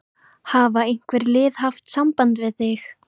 Hafa einhver lið haft samband við þig?